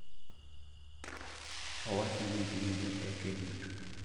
Owacho ni gin joteke duto.